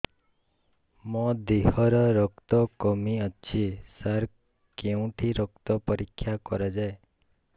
ମୋ ଦିହରେ ରକ୍ତ କମି ଅଛି ସାର କେଉଁଠି ରକ୍ତ ପରୀକ୍ଷା କରାଯାଏ